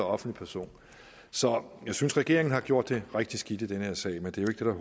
offentlig person så jeg synes regeringen har gjort det rigtig skidt i den her sag men det er jo